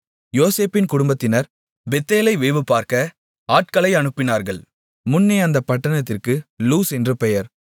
யோசேப்பின் குடும்பத்தினர் பெத்தேலை வேவுபார்க்க ஆட்களை அனுப்பினார்கள் முன்னே அந்தப் பட்டணத்திற்கு லூஸ் என்று பெயர்